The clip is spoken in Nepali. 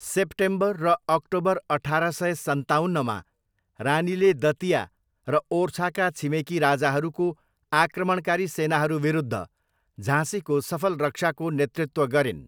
सेप्टेम्बर र अक्टोबर अठार सय सन्ताउन्नमा, रानीले दतिया र ओर्छाका छिमेकी राजाहरूको आक्रमणकारी सेनाहरू विरुद्ध झाँसीको सफल रक्षाको नेतृत्व गरिन्।